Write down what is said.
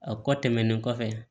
A kɔ tɛmɛnen kɔfɛ